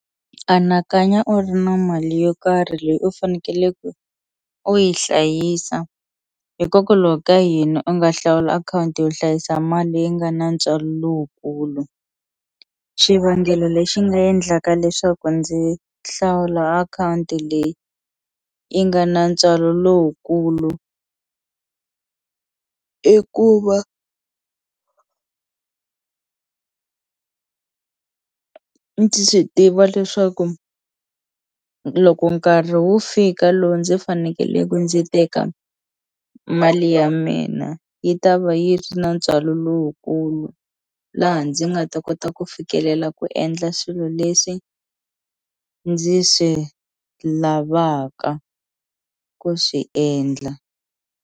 Anakanya u ri na mali yo karhi leyi u fanekeleke u yi hlayisa hikokwalaho ka yini u nga hlawula akhawunti yo hlayisa mali leyi nga na ntswalo lowukulu xivangelo lexi nga endlaka leswaku ndzi hlawula akhawunti leyi yi nga na ntswalo lowukulu i ku va ndzi swi tiva leswaku loko nkarhi wu fika lowu ndzi fanekeleku ndzi teka mali ya mina yi ta va yi ri na ntswalo lowukulu laha ndzi nga ta kota ku fikelela ku endla swilo leswi ndzi swi lavaka ku swi endla.